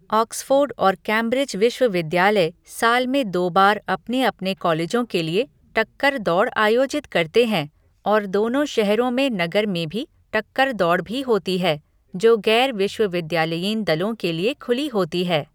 Oxford और Cambridge विश्वविद्यालय साल में दो बार अपने अपने कॉलेजों के लिए टक्कर दौड़ आयोजित करते हैं, और दोनों शहरों में नगर में भी टक्कर दौड़ भी होती है, जो गैर विश्वविद्यालयीन दलों के लिए खुली होती है।